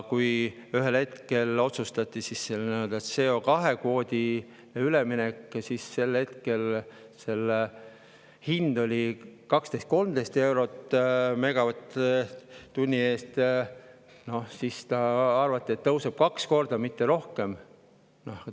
Kui ühel hetkel otsustati see CO2-kvoodi üleminek ja sel hetkel oli hind 12–13 eurot megavatt-tunni eest, siis arvati, et see tõuseb kaks korda, mitte rohkem.